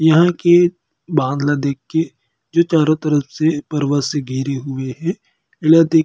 इहाँ के बांध ल देख के जो चारों तरफ से पर्वत से घिरे हुए हे जेला देख के--